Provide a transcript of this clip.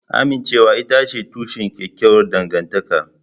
Amincewa ita ce tushen kyakkyawar dangantaka